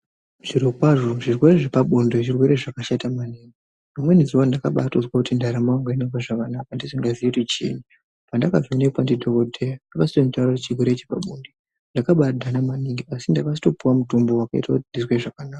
Zvirokwazvo zvirwere zvepabonde zvirwere zvakashata maningi. Rimweni zuwa ndakabatozwa kuti ndaramo yangu haina kumira zvakanaka ndisingaziyi kuti chii. Pandakavhenekwa ndidhokodheya akazotonditaurire kuti chirwere chepabonde ndakabadhana maningi asi ndakazotopiwa mutombo wakaite kuti ndizwe zvakanaka.